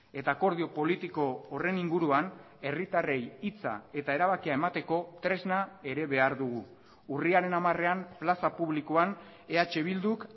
eta akordio politiko horren inguruan herritarrei hitza eta erabakia emateko tresna ere behar dugu urriaren hamarean plaza publikoan eh bilduk